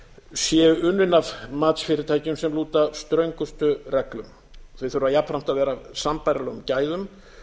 séu unnin af matsfyrirtækjum sem lúta ströngustu reglum þau þurfa jafnframt að vera af sambærilegum gæðum